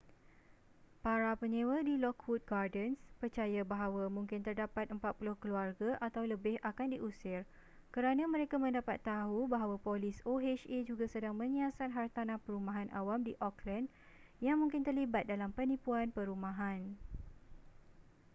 para penyewa di lockwood gardens percaya bahawa mungkin terdapat 40 keluarga atau lebih akan diusir kerana mereka mendapat tahu bahawa polis oha juga sedang menyiasat hartanah perumahan awam di oakland yang mungkin terlibat dalam penipuan perumahan